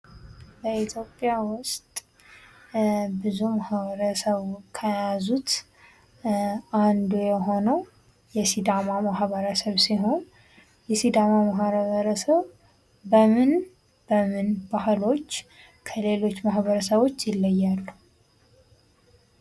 በኢትዮጵያ ውስጥ ብዙ ማኅበረሰቡ ከያዙት አንዱ የሆነው የሲዳማ ማህበረሰብ ሲሆን፤ የሲዳማ ህብረተሰብ በምን በምን ባህሎች ከሌሎች ማህበረሰቦች ይለያያሉ?